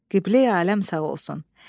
Qibləyi aləm sağ olsun.